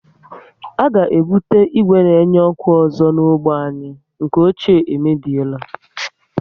A ga ebute ìgwè na enye ọkụ ọzọ na ógbè anyị, nke ochie e mebiela